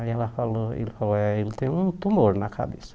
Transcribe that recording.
Aí ela falou, ele falou, é, ele tem um tumor na cabeça.